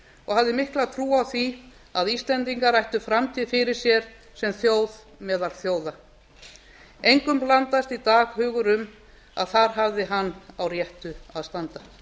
og hafði mikla trú á því að íslendingar ættu framtíð fyrir sér sem þjóð meðal þjóða engum blandast í dag hugur um að þar hafði hann á réttu að standa